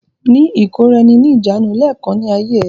Ní ìkóra-ẹni-ní-ìjánu lẹ́ẹ̀kan ní ayé ẹ!